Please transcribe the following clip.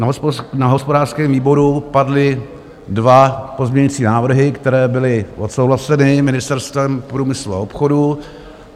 Na hospodářském výboru padly dva pozměňovací návrhy, které byly odsouhlaseny Ministerstvem průmyslu a obchodu.